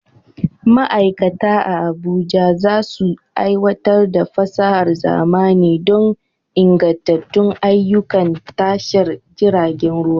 Ma'aikata a Abuja za su aiwatar da fasahar zamani don ingantattun ayyukan tashar jiragen ruwa.